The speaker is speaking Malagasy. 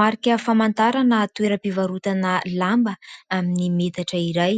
Marika famantarana toeram-pivarotana lamba amin'ny metatra iray,